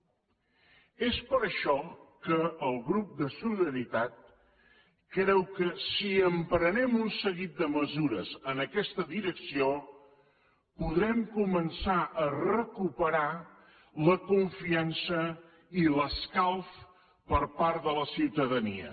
és per això que el grup de solidaritat creu que si emprenem un seguit de mesures en aquesta direcció podrem començar a recuperar la confiança i l’escalf per part de la ciutadania